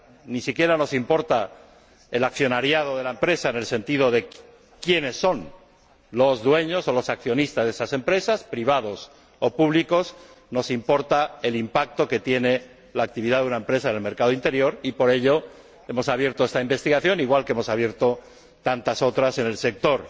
Ni siquiera nos importa el accionariado de la empresa en el sentido de quiénes son los dueños o los accionistas de esa empresa, privados o públicos. Nos importa el impacto que tiene la actividad de una empresa en el mercado interior y, por ello, hemos abierto esta investigación, igual que hemos abierto tantas otras en el sector